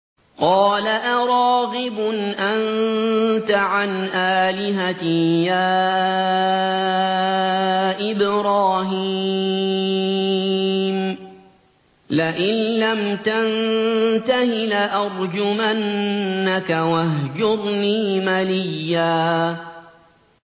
قَالَ أَرَاغِبٌ أَنتَ عَنْ آلِهَتِي يَا إِبْرَاهِيمُ ۖ لَئِن لَّمْ تَنتَهِ لَأَرْجُمَنَّكَ ۖ وَاهْجُرْنِي مَلِيًّا